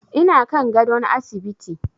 Ina kan gadon asibiti.